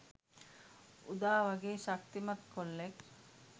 උදා වගේ ශක්තිමත් කොල්ලෙක්